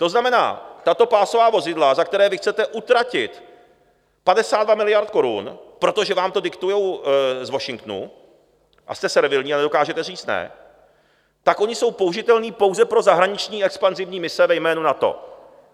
To znamená, tato pásová vozidla, za která vy chcete utratit 52 miliard korun, protože vám to diktují z Washingtonu, a jste servilní a nedokážete říct ne, tak ona jsou použitelná pouze pro zahraniční expanzívní mise ve jménu NATO.